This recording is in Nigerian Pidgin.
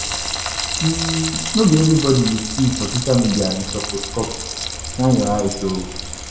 No be everybodi you see for social media you suppose copy, shine your eye o.